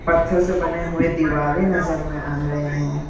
पत्थर से बने हुए दिवाले नजर में आ रहे हैं।